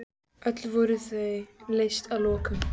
Öll voru þau leyst að lokum.